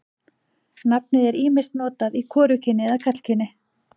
Nafnið er ýmist notað í hvorugkyni eða karlkyni.